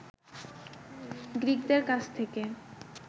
গ্রিকদের কাছ থেকে